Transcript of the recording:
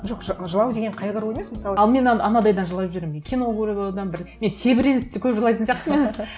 жоқ жылау деген қайғыру емес мысалы ал мен анандайдан жылап жіберемін мен кино көріп одан бір мен тебіреніп те көп жылайтын сияқтымын